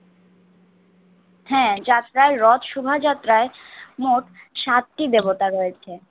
হ্যাঁ যাত্রায় রথ শুভাযাত্রায় মোট সাতটি দেবতা রয়েছে